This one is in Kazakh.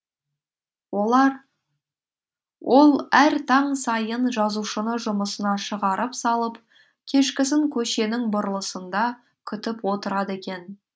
ол әр таң сайын жазушыны жұмысына шығарып салып кешкісін көшенің бұрылысында күтіп отырады екен